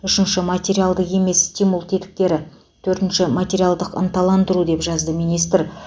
үшінші материалды емес стимул тетіктері төртінші материалдық ынталандыру деп жазды министр